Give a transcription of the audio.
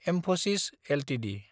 Mphasis Ltd